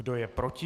Kdo je proti?